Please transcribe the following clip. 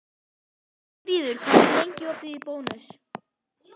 Hjálmfríður, hvað er lengi opið í Bónus?